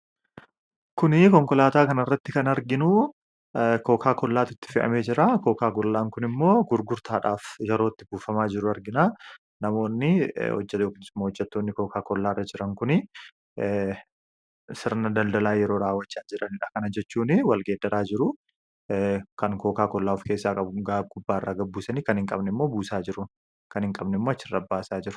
Suuraa kanaa gadii irratti kan argamu konkolaataa kokaa kollaa baatee jiruu dha. Innis yeroo inni gurgurtaaf walitti qabamee jiru kan ibsuu dha. Innis yeroo namoonni addaa addaa wal gargaaruun buusaa jiran kan ibsuu dha.